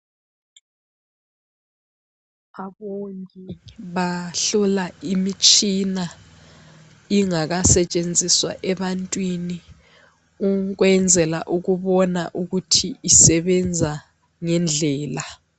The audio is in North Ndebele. Abongi bahlola imitshina ingakasetshenziswa ebantwini ukwenzela ukubona ukuthi isebenza ngendlela.